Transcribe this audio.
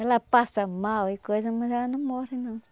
Ela passa mal e coisa, mas ela não morre não.